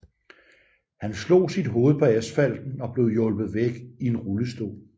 Han slog sit hoved på asfalten og blev hjulpet væk i en rullestol